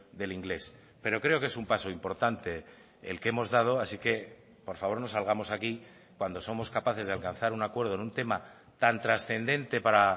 del inglés pero creo que es un paso importante el que hemos dado así que por favor no salgamos aquí cuando somos capaces de alcanzar un acuerdo en un tema tan trascendente para